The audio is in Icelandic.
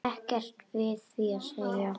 Ekkert við því að segja.